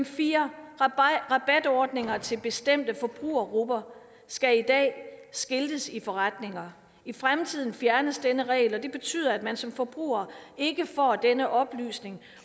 4 rabatordninger til bestemte forbrugergrupper skal i dag skiltes i forretninger i fremtiden fjernes denne regel og det betyder at man som forbruger ikke får denne oplysning